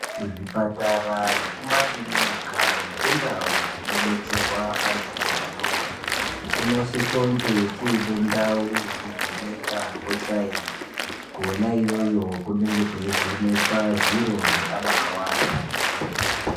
Kuzvipatara, kumakirinika nekundau dzinobetserwa antu anorwara kunosisonge kuine ndau yekuvhenekwa kwasainzi kwona iyoyo kunenge kweivhenekwe zviro zvakabaiwanda.